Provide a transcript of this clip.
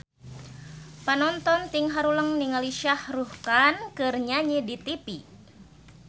Panonton ting haruleng ningali Shah Rukh Khan keur nyanyi di tipi